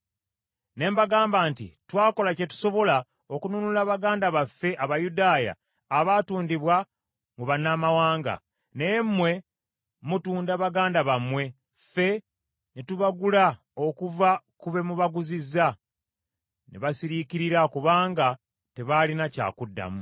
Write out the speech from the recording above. ne mbagamba nti, “Twakola kye tusobola okununula baganda baffe Abayudaaya abaatundibwa mu bannamawanga, naye mmwe mutunda baganda bammwe, ffe ne tubagula okuva ku be mubaguzizza!” Ne basiriikirira, kubanga tebaalina kyakuddamu.